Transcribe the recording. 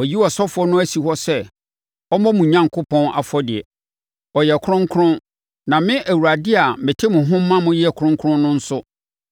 Wɔayi ɔsɔfoɔ no asi hɔ sɛ ɔmmɔ mo Onyankopɔn afɔdeɛ; ɔyɛ kronkron na me Awurade a mete mo ho ma moyɛ kronkron no nso,